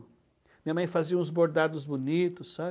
Minha mãe fazia uns bordados bonitos, sabe?